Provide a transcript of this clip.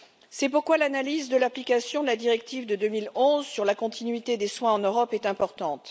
C'est pourquoi l'analyse de l'application de la directive de 2011 sur la continuité des soins en Europe est importante.